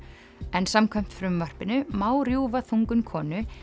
en samkvæmt frumvarpinu má rjúfa þungun konu